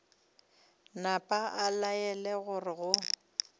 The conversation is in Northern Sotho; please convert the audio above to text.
napa a laela gore go